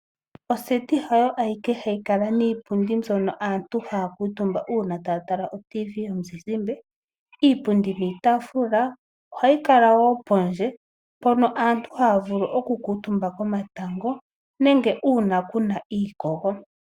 Oseti hayi ayike hayi kala niipundi mbyono aantu haa kuutumba uuna taatula otv yomuzizimbe. Iipundi niitaafula ohayi kala woo pondje mpono aantu haa vulu oku kuutumba komatango nenge uuna keyima kuna iikogo.